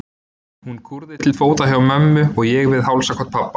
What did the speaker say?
Hún kúrði til fóta hjá mömmu og ég við hálsakot pabba.